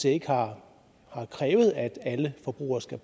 ikke har krævet at alle forbrugere skal